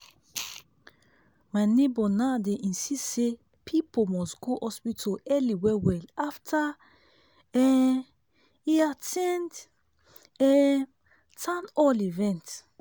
my neighbor now dey insist say people must go hospital early well-well after um e at ten d um town hall event.